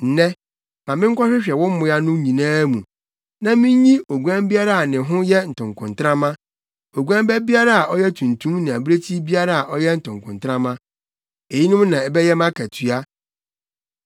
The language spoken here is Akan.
Nnɛ, ma menkɔhwehwɛ wo mmoa no nyinaa mu, na minnyi oguan biara a ne ho yɛ ntokontrama, oguan ba biara a ɔyɛ tuntum ne abirekyi biara a ɔyɛ ntokontrama. Eyinom na ɛbɛyɛ mʼakatua.